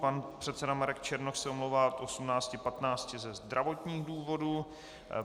Pan předseda Marek Černoch se omlouvá od 18.15 ze zdravotních důvodů.